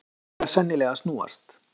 Áttin er sennilega að snúast.